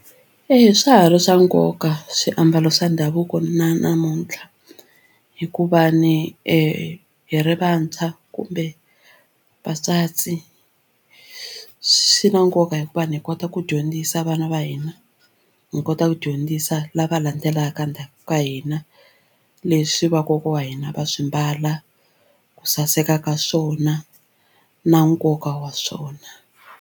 Eya swa ha ri swa nkoka swiambalo swa ndhavuko na namuntlha hikuva ni hi ri vantshwa kumbe vantswatsi swi na nkoka hikuva ni hi kota ku dyondzisa vana va hina hi kota ku dyondzisa lava landzelaka ndzhaku ka hina leswi vakokwa wa hina va swi mbala ku saseka ka swona na nkoka wa swona.